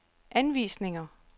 anvisninger